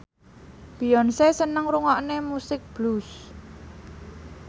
Beyonce seneng ngrungokne musik blues